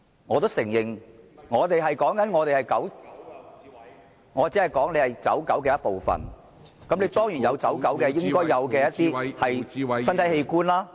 我也承認，我說他作為"走狗"的一部分，他當然有"走狗"應有的一些身體器官。